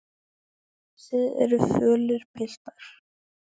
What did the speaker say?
Þið eruð fölir, piltar.